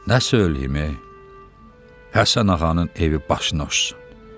Nə söyləyim, Həsən ağanın evi başına uçsun.